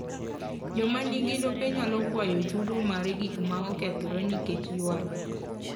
Joma nigi lope nyalo kwayo chudo mar gik ma okethore nikech ywaruok.